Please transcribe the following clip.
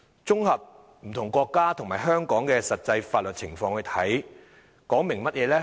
綜合不同國家和香港的實際法律情況，這說明了甚麼呢？